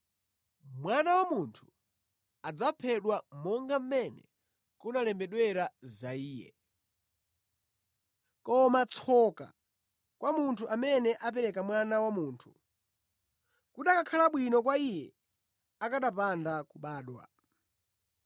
Mwana wa Munthu adzaphedwa monga mmene kunalembedwera za Iye. Koma tsoka kwa munthu amene apereka Mwana wa Munthu! Kukanakhala bwino kwa iye akanapanda kubadwa.”